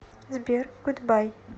сбер гудбай